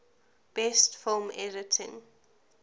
best film editing